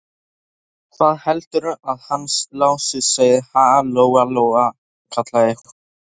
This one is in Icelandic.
Hvað heldurðu að hann Lási segði, ha, Lóa-Lóa, kallaði hún.